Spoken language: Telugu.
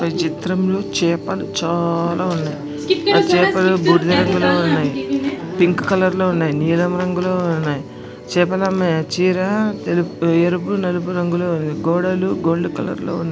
ఈ చిత్రంలో చేపలు చాలా ఉన్నాయ్. చేపలు బూడిద రంగులో ఉన్నాయ్. పింక్ కలర్ లో ఉన్నాయి. నీలం రంగులో ఉన్నాయి. చేపలు అమ్మే చీర తెలు-ఎరుపు నలుపు లో ఉన్నాయి.గోడలు గోల్డ్ కలర్ లో ఉన్న--